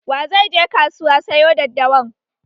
Wa zai je kasuwa sayo daddawan?